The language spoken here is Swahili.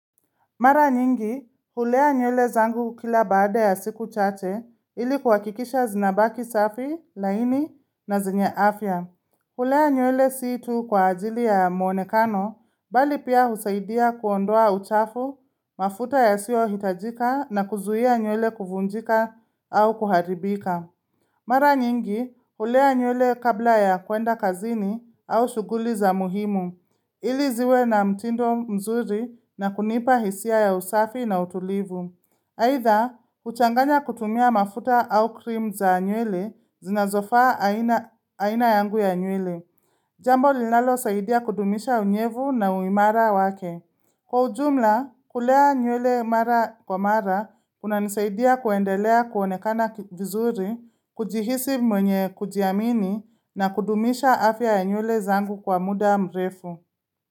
Mara nyingi, hulea nywele zangu kila baada ya siku chache ili kuhakikisha zinabaki safi, laini na zinye afya. Hulea nywele siitu kwa ajili ya muonekano, bali pia husaidia kuondoa uchafu, mafuta ya siyo hitajika na kuzuia nywele kuvunjika au kuharibika. Mara nyingi hulea nywele kabla ya kuenda kazini au shughuli za muhimu, ili ziwe na mtindo mzuri na kunipa hisia ya usafi na utulivu. Aidha, huchanganya kutumia mafuta au krim za nywele zina zofaa aina aina yangu ya nywele. Jambo linalo saidia kudumisha unyevu na uimara wake. Kwa ujumla, kulea nywele mara kwa mara, unanisaidia kuendelea kuonekana vizuri, kujihisi mwenye kujiamini na kudumisha afya ya nywele zangu kwa muda mrefu.